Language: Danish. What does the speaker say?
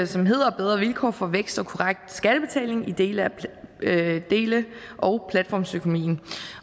som hedder bedre vilkår for vækst og korrekt skattebetaling i dele dele og platformsøkonomien